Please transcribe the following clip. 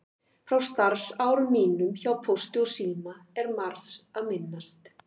Frá starfsárum mínum hjá Pósti og síma er margs að minnast.